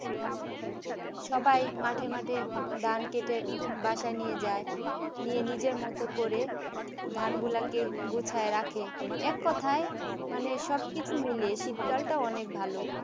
সবাই মাঝে মাঝে ধান কেটে বাসায় নিয়ে যায় নিয়ে নিজের মত করে ধানগুলোকে গুছিয়ে রাখে এক কথায় মানে সবকিছু মিলিয়ে শীতকালটা অনেক ভালো